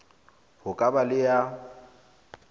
ho ka ba le ya